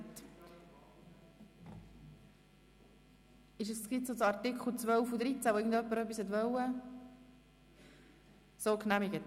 Wer dem Artikel zustimmt, stimmt Ja, wer diesen ablehnt, stimmt Nein.